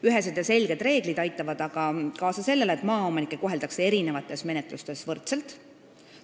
Ühesed ja selged reeglid aitavad kaasa sellele, et maaomanikke koheldakse eri menetlustes võrdselt.